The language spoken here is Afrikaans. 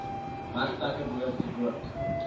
werkplekke behoort rook